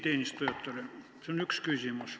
See on üks küsimus.